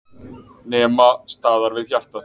Nema staðar við hjartað.